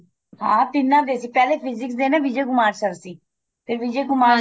ਹਾਂ ਤਿੰਨਾ ਦੇ ਸੀ ਪਹਿਲੇ physics ਦੇ ਨਾ ਵਿਜੇ ਕੁਮਾਰ sir ਸੀ ਵਿਜੇ ਕੁਮਾਰ